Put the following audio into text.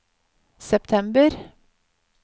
september